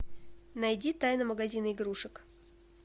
найди тайна магазина игрушек